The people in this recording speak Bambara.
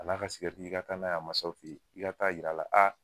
A n'a ka sigɛriti i ka taa n'a ye a masaw fe ye, i ka taa'a yir'a la